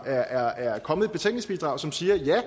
der er kommet et betænkningsbidrag som siger at ja